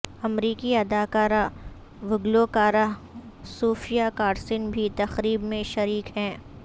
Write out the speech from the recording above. امریکی اداکارہ و گلوکارہ صوفیا کارسن بھی تقریب میں شریک ہیں